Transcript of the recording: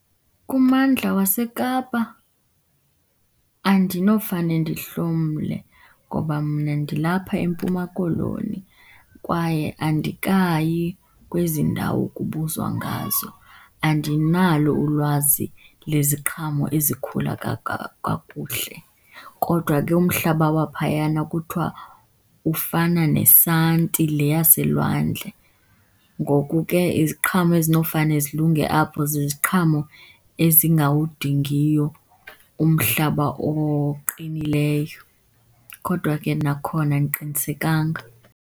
Kummandla waseKapa andinofane ndihlomle ngoba mna ndilapha eMpuma Koloni kwaye andikayi kwezi ndawo kubuzwa ngazo. Andinalo ulwazi leziqhamo ezikhula kakuhle kodwa ke umhlaba waphayana kuthiwa ufana nesanti le yaselwandle. Ngoku ke iziqhamo ezinofane zilunge apho ziziqhamo ezingawudingiyo umhlaba oqinileyo, kodwa ke nakhona andiqinisekanga.